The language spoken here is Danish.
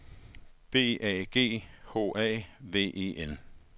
B A G H A V E N